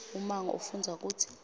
ummango ufundza kutsi